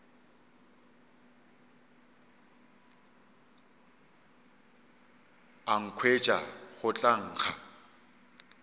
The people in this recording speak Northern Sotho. a nkhwetša go tla nkga